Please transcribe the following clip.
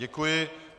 Děkuji.